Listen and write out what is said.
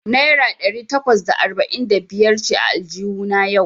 Naira ɗari takwas da arba'in da biyar ce a aljuhuna yau.